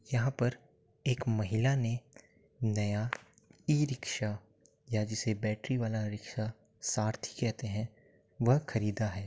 यहाँ पर एक महिला ने नया ई-रिक्शा या जिसे बैटरी वाला रिक्शा सारथी कहते हैं वह ख़रीदा है।